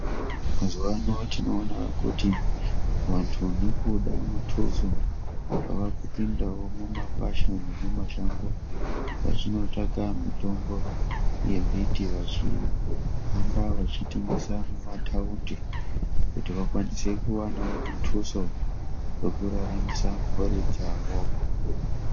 Mazuwano tinoona kuti vantu nekuda mutoso , vavakupindawo mumakwasha nemumashango vachinotsvaka mitombo yembiti vachihamba vachitengesa mumataunti kuti vakwanisewo kuwana mutuso wekuraramosa mhuri dzavo.